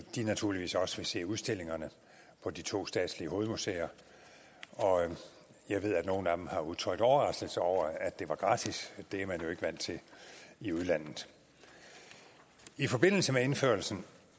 de naturligvis også vil se udstillingerne på de to statslige hovedmuseer jeg ved at nogle af dem har udtrykt overraskelse over at det var gratis det er man jo ikke vant til i udlandet i forbindelse med indførelsen